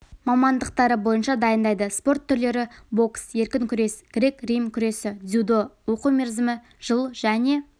мамандықтары бойынша дайындайды спорт түрлері бокс еркін күрес грек-рим күресі дзюдо оқу мерзімі жыл және